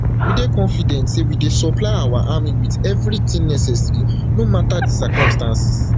we dey confident say we dey supply our army wit everything necessary no mata di circumstances